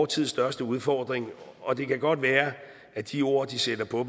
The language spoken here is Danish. tids største udfordring og det kan godt være at de ord de sætter på